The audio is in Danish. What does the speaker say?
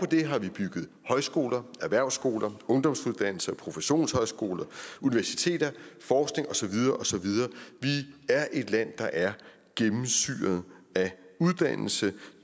det har vi bygget højskoler erhvervsskoler ungdomsuddannelser professionshøjskoler universiteter og forskning og så videre og så videre vi er et land der er gennemsyret af uddannelse